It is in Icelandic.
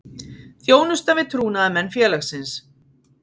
Þjónusta við trúnaðarmenn félagsins.